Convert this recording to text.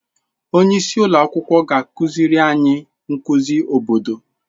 Onye isi ụlọ akwụkwọ ga-akụziri anyị nkuzi obodo.